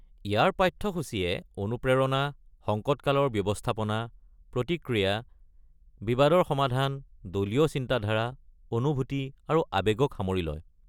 ইয়াৰ পাঠাসূচিয়ে অনুপ্ৰেৰণা, সংকটকালৰ ব্যৱস্থাপনা, প্ৰতিক্ৰিয়া, বিবাদৰ সমাধান, দলীয় চিন্তাধাৰা, অনুভূতি আৰু আৱেগক সামৰি লয়।